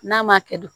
N'a ma kɛ de